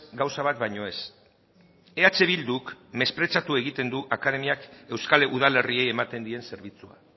gauza bat baino ez eh bilduk mespretxatu egiten du akademiak euskal udalerriei ematen dien zerbitzua